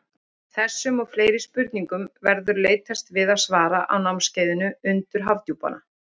Þessum og fleiri spurningum verður leitast við að svara á námskeiðinu Undur Hafdjúpanna.